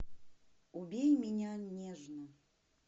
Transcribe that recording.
убей меня нежно